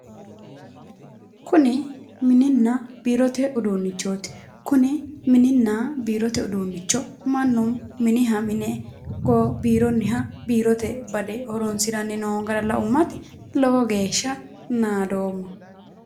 Kuni mininna biirote uduunnichooti. Kuni mininna biirote uduunnicho mannu miniha mine biironniha biirote bade horoonsi'nanni noo gara laummati lowo geeshsha naadoomma.